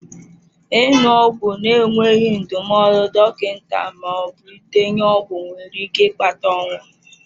Ịṅụ ọgwụ na-enweghị ndụmọdụ dọkịta ma ọ bụ ndenye ọgwụ nwere ike ịkpata ọnwụ.